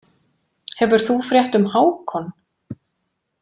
Hefur þú frétt um Hákon?